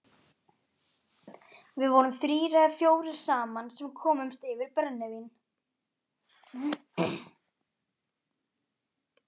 Við vorum þrír eða fjórir saman sem komumst yfir brennivín.